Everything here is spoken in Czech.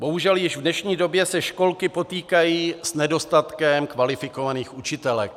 Bohužel již v dnešní době se školky potýkají s nedostatkem kvalifikovaných učitelek.